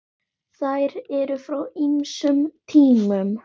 Þær eru frá ýmsum tímum.